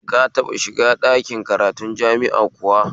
Ka taɓa shiga ɗakin karatun jama'i kuwa?